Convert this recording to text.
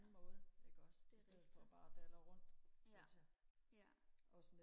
ja det rigtigt ja ja